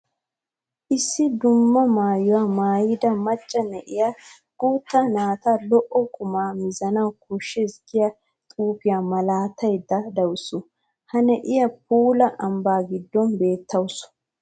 Issi dumma maayuwa maayidda maca na'iya guutta naata lo'o qumma mizanna koshshees giya xuufiya malataydde de'awussu. Ha na'iya puula ambba gidon beettawusu.